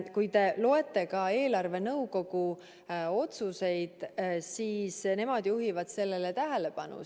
Kui te loete ka eelarvenõukogu otsuseid, siis nemad juhivad sellele tähelepanu.